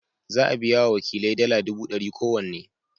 Za a biya wa wakilai dala dubu dari kowanne.